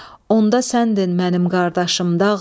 Onda səndin mənim qardaşım dağlar.